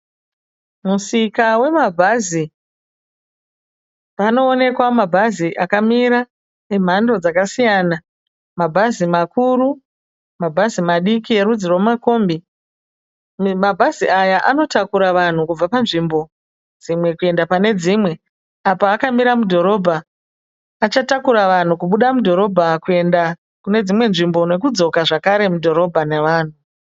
Musika wemabhazi, panoonekwa mabhazi akamira emhando dzakasiyana. Mabhazi makuru, mabhazi madiki erudzi rwemakombi. Mabhazi aya anotakura vanhu kubva panzvimbo dzimwe kuenda pane dzimwe. Apa akamira mudhorobha, achatakura vanhu kubuda mudhorobha kuenda kune dzimwe nzvimbo nokudzoka zvakare mudhorobha navanhu.